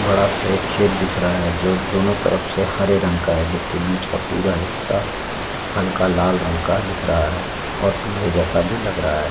बड़ा सा एक खेत दिख रहा है जो दोनों तरफ से हरे रंग का है जबकि बीच का पूरा हिस्सा हल्का लाल रंग का दिख रहा है और पीले जैसा भी लग रहा है ।